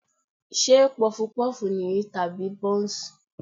Ṣé Pọfupọ́ọ̀fù nìyí tàbí Bọ́ǹsì?